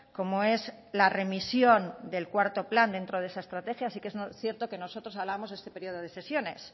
como es la remisión del cuarto plan dentro de esa estrategia así que es cierto que nosotros hablamos de este periodo de sesión es